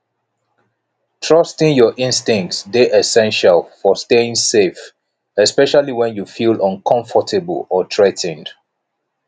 trusting your instincts dey essential for staying safe especially when you feel uncomfortable or threa ten ed